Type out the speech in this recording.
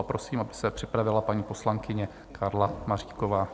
A prosím, aby se připravila paní poslankyně Karla Maříková.